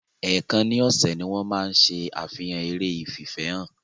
Èèkan ni ọ̀sẹ̀ ni wọ́n máa ń ṣe àfihàn eré ìfìfẹ́hàn.